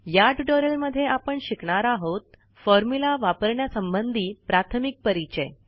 या ट्युटोरियल मध्ये आपण शिकणार आहोत फॉर्म्युला वापरण्यासंबंधी प्राथमिक परिचय